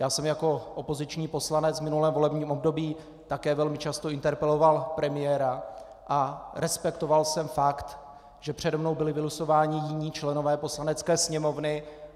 Já jsem jako opoziční poslanec v minulém volebním období také velmi často interpeloval premiéra a respektoval jsem fakt, že přede mnou byli vylosováni jiní členové Poslanecké sněmovny.